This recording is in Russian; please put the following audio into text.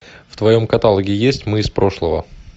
в твоем каталоге есть мы из прошлого